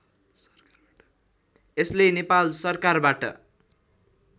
यसले नेपाल सरकारबाट